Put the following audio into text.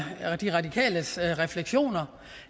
de radikales reflektioner